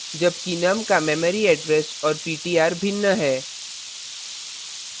जबकि num का memory address और ptr भिन्न है